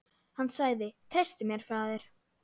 Hann sagði: Treystu mér, faðir.